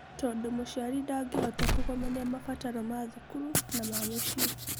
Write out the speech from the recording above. Tondũ mũciari ndangĩhota kũgomania mabataro ma thukuru na ma mũciĩ.